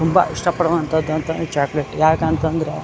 ತುಂಬಾ ಇಷ್ಟ ಪಡುವಂತದ್ದು ಚಾಟ್ ಬಿಟ್ ಯಾಕಂತಂದ್ರೆ --